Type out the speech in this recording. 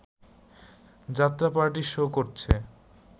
যাত্রাপার্টি show করছে